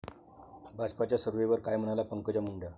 भाजपच्या सर्व्हेवर काय म्हणाल्या पंकजा मुंडे!